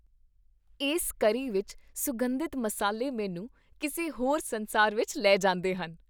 ਇਸ ਕਰੀ ਵਿੱਚ ਸੁਗੰਧਿਤ ਮਸਾਲੇ ਮੈਨੂੰ ਕਿਸੇ ਹੋਰ ਸੰਸਾਰ ਵਿਚ ਲੈ ਜਾਂਦੇ ਹਨ।